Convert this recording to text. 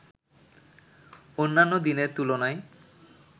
অন্যান্য দিনের তুলনায়